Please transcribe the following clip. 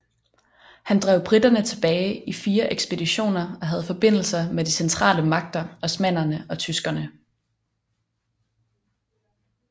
Han drev briterne tilbage i fire ekspeditioner og havde forbindelser med de centrale magter osmannerne og tyskerne